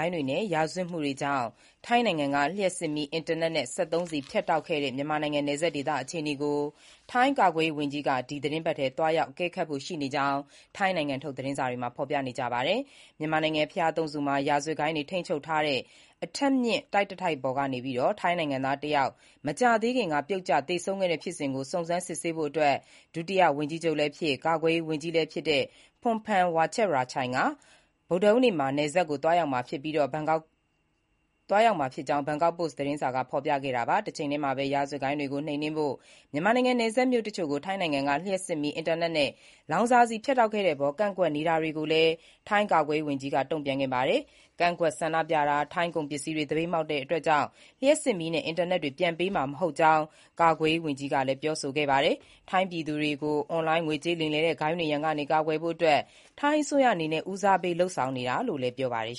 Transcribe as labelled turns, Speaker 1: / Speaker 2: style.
Speaker 1: ိုဏ်းတွေနဲ့ ရာဇဝတ်မှုတွေကြောင့် ထိုင်းနိုင်ငံက လျှပ်စစ်မီး၊ အင်တာနက်နဲ့ စက်သုံးဆီဖြတ်တောက်ခဲ့တဲ့ မြန်မာနိုင်ငံ နယ်စပ်ဒေသအခြေအနေကို ထိုင်းကာကွယ်ရေးဝန်ကြီး ဒီသီတင်းပတ်ထဲ သွားရောက်အကဲခတ်ဖို့ ရှိနေကြောင်း ထိုင်းနိုင်ငံထုတ် သတင်းတွေမှာ ဖော်ပြပါတယ်။ မြန်မာနိုင်ငံ ဘုရားသုံးဆူမှာ ရာဇဝတ်ဂိုဏ်းတွေထိန်းချုပ်ထားတဲ့ အထပ်မြင့်တိုက်တတိုက်ပေါ်ကနေ ထိုင်းနိုင်ငံသားတယောက် မကြာသေးခင်က ပြုတ်ကျသေဆုံးခဲ့တဲ့ဖြစ်စဉ်ကို စုံစမ်းစစ်ဆေးဖို့ ဒုတိယဝန်ကြီးချုပ်လည်းဖြစ်၊ ကာကွယ်ရေးဝန်ကြီးလည်းဖြစ် Phumtham Wechayachai က မနက်ဖြန် ဗုဒ္ဓဟူးနေ့ နယ်စပ်ကို သွားရောက်မှာဖြစ်ကြောင်း ဘန်ကောက်ပို့စ် သတင်းစာက ဖော်ပြခဲ့တာပါ။ တချိန်တည်းမှာပဲ ရာဇဝတ်ဂိုဏ်းတွေကိုနှိမ်နင်းဖို့ မြန်မာနိုင်ငံနယ်စပ်မြို့တချို့ကို ထိုင်းနိုင်ငံက လျှပ်စစ်မီး၊ အင်တာနက်နဲ့ လောင်စာဆီဖြတ်တောက်ခဲ့တဲ့အပေါ် ကန့်ကွက်နေတာတွေကိုလည်း ထိုင်းကာကွယ်ရေးဝန်ကြီးက တုံ့ပြန်ခဲ့ပါတယ်။ ကန့်ကွက်ဆန္ဒပြတာ၊ ထိုင်းကုန်ပစ္စည်းတွေကို သပိတ်မှောက်တာကြောင့်တော့ လျှပ်စစ်မီးနဲ့အင်တာနက်တွေ ပြန်ပေးမှာမဟုတ်ကြောင်း ကာကွယ်ရေးဝန်ကြီး Phumtham ကပြောဆိုခဲ့တာပါ။ ထိုင်းပြည်သူတွေကို အွန်လိုင်းငွေကြေးလိမ်လည်တဲ့ ဂိုဏ်းတွေရန်ကကာကွယ်ဖို့ ထိုင်းအစိုးရအနေနဲ့ ဦးစားပေးလုပ်ဆောင်နေတာလို့လည်း ပြောပါတယ်